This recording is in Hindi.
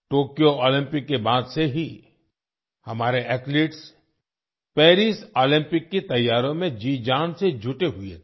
टोक्यो ओलंपिक के बाद से ही हमारे एथलीट्स पेरिस ओलंपिक की तैयारियों में जी जान से जुटे हुए थे